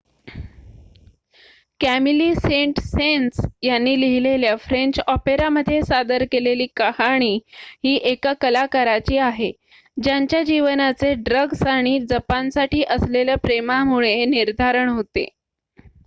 "Camille Saint Saens यांनी लिहिलेल्या French ऑपेरामध्ये सादर केलेली कहाणी ही एका कलाकाराची आहे "ज्यांच्या जीवनाचे ड्रग्ज आणि जपानसाठी असलेल्या प्रेमामुळे निर्धारण होते.""